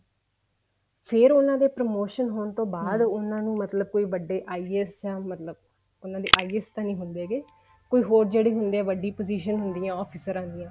ਫ਼ੇਰ ਉਹਨਾ ਦੇ promotion ਹੋਣ ਤੋਂ ਬਾਅਦ ਮਤਲਬ ਕੋਈ ਵੱਡੇ IAS ਜਾਂ ਮਤਲਬ ਉਹਨਾ ਦੇ IAS ਨੀ ਹੁੰਦੇ ਹੈਗੇ ਕੋਈ ਹੋਰ ਜਿਹੜੇ ਹੁੰਦੇ ਆ ਵੱਡੀ position ਹੁੰਦੀਆਂ officer ਦੀਆਂ